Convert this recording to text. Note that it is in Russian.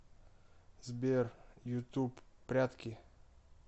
сбер ютуб прятки